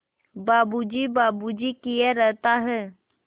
बाबू जी बाबू जी किए रहता है